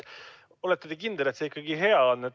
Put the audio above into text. Olete te kindel, et see ikka hea on?